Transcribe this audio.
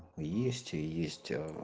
есть есть э